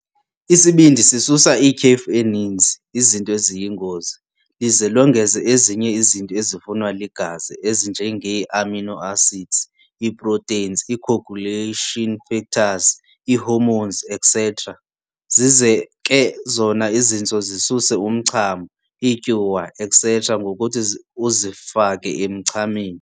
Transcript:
Isibindi sisusa ityhefu eninzi, izinto eziyingozi, lize longeze ezinye izinto ezifunwa ligazi ezinjengeeamino acids, iiproteins, iicoagulation factors, iihormones, etc.. Zize ke zona izintso zisuse umchamo, iityuwa, etc. ngokuthi uzifake emchameni.